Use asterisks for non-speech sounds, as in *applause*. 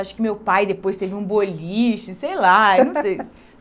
Acho que meu pai depois teve um boliche, sei lá. *laughs* Eu não sei